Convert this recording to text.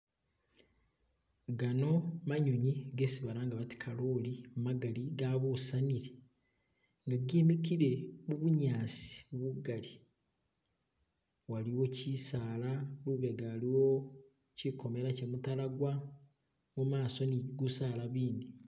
Gano manyonyi gesi balanga kaloli magali gabusanile nga gemikile mubunyasi bugali waliwo kisaala lubega lwo kokomela kye mutalagwa mumaso ni gusala bindi